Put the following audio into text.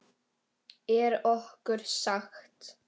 Er okkur sagt.